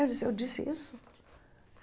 Eu disse, eu disse isso?